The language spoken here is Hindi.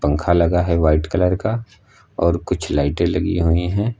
पंखा लगा है व्हाइट कलर का और कुछ लाइटे लगी हुई हैं।